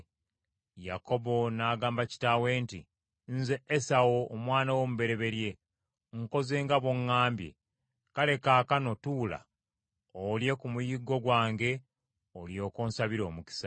Yakobo n’agamba kitaawe nti, “Nze Esawu omwana wo omubereberye, nkoze nga bw’oŋŋambye. Kale kaakano tuula olye ku muyiggo gwange olyoke onsabire omukisa.”